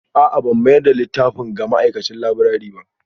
A'a ban mayar da littafin ga ma'aikacin laburare ba